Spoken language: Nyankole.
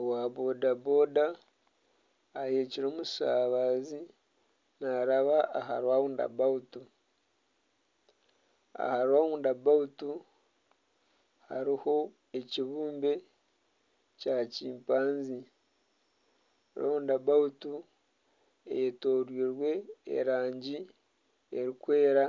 Owa boda boda aheekire omushabaze naaraba aha rawundi abawutu. Aha rawundi abawutu hariho ekibumbe ky'empundu. Rawundi abawutu eyetoroirwe erangi erikwera